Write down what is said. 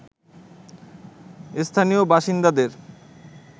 স্থানীয় বাসিন্দাদের